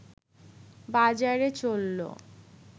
বাজারে চলল